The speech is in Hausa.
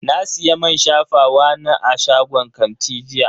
Na siya man shafawa na a shagon kanti jiya.